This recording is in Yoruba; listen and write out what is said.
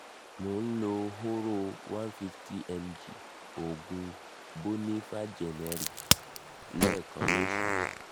mò ń lo hóró one fifty mg òògùn boniva generic lẹ́ẹ̀kan lóṣù